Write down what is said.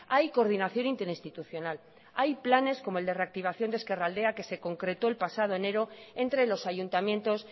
hay coordinación interinstitucional hay planes como el de reactivación de ezkerraldea que se concretó el pasado enero entre los ayuntamientos